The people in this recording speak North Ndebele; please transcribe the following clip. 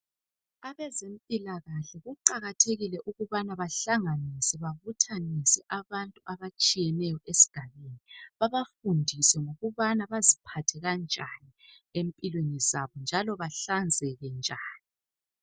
Abezempilakahle kuqakathekile ukubana bahlanganise ,babuthanise abantu abatshiyeneyo esigabeni . Babafundise ngokubana kumele baziphathe kanjani empilweni zabo .Njalo bahlanzeke njani.